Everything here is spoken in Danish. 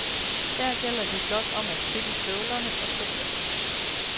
Her gælder det blot om at kridte støvlerne og stå fast.